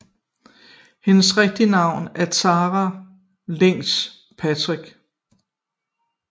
Hendes rigtige navn er Tara Leigh Patrick